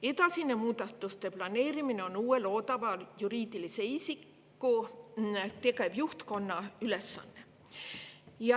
Edasine muudatuste planeerimine on uue loodava juriidilise isiku tegevjuhtkonna ülesanne.